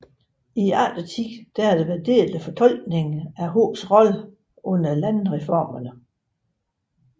I eftertiden har der været delte fortolkninger af Hos rolle under landreformerne